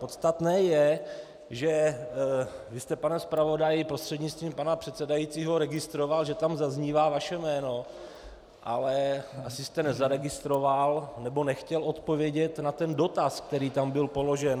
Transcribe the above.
Podstatné je, že vy jste, pane zpravodaji, prostřednictvím pana předsedajícího, registroval, že tam zaznívá vaše jméno, ale asi jste nezaregistroval nebo nechtěl odpovědět na ten dotaz, který tam byl položen.